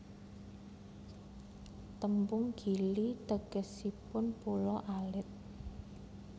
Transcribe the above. Tembung Gili tegesipun pulo alit